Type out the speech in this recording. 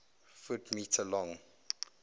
ft m long